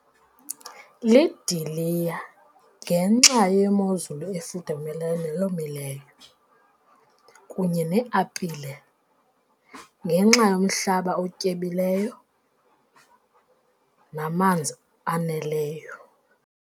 Lidiliya, ngenxa yemozulu efudumeleyo neyomileyo kunye neeapile ngenxa yomhlaba otyebileyo namanzi aneleyo.